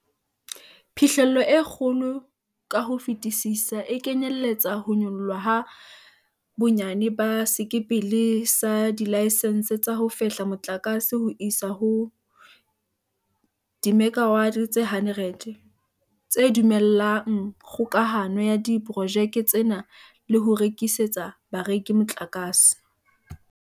Phihlello e kgolo ka ho fetisisa e kenyeletsa ho nyollwa ha bonyane ba sekepele sa dilaesense tsa ho fehla motlakase ho isa ho dimekawate tse 100, tse dumellang kgokahano ya diporojeke tsena le ho rekisetsa bareki motlakase.